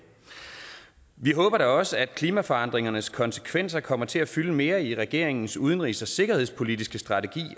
vi håber da også at klimaforandringernes konsekvenser kommer til at fylde mere i regeringens udenrigs og sikkerhedspolitiske strategi